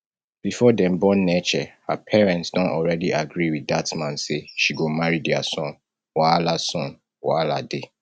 before dem born neche her parents don already agree with dat man say she go marry dia son wahala son wahala dey